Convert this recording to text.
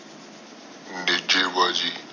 ਨੇਜੇ ਵਜੀ